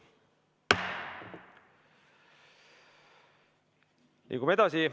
Liigume edasi.